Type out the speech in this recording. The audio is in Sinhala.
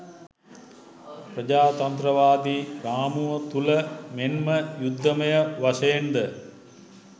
ප්‍රජාතන්ත්‍රවාදී රාමුව තුල මෙන්ම යුද්ධමය වශයෙන්ද